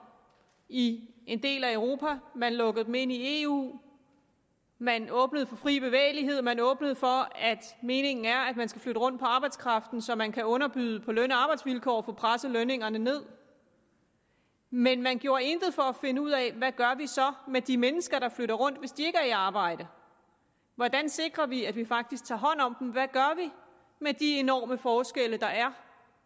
i en del af europa man lukkede dem ind i eu man åbnede for fri bevægelighed man åbnede for meningen er at man skal flytte rundt på arbejdskraften så man kan underbyde på løn og arbejdsvilkår og få presset lønningerne ned men man gjorde intet for at finde ud af hvad gør vi så med de mennesker der flytter rundt hvis de ikke er i arbejde hvordan sikrer vi at vi faktisk tager hånd om dem hvad gør vi med de enorme forskelle der er